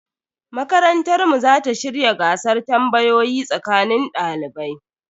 Makarantar mu za ta shirya gasar tambayoyi tsakanin dalibai.